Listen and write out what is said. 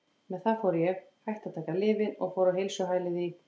Með það fór ég, hætti að taka lyfin og fór á heilsuhælið í